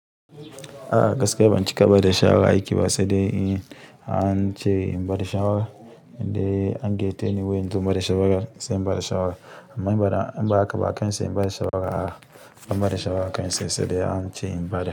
Ah gaskiya ban cika bada shawara ake sai dai in an ce in bada shawara, in dai an geta ni wain zuwa bada shawara sai in bada shawara. Amma in bara in ba haka ba akansi in bada shawara ah, in bada shawara akansi sai dai an ce in bada.